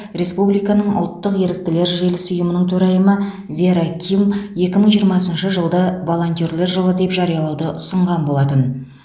республиканың ұлттық еріктілер желісі ұйымының төрайымы вера ким екі мың жиырмасыншы жылды волентерлер жылы деп жариялауды ұсынған болатын